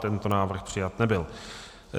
Tento návrh přijat nebyl.